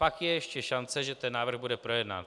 Pak je ještě šance, že ten návrh bude projednán.